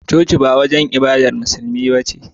Coci ba wajan ibadar musulmai bace